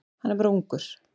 Hann er bara ungur.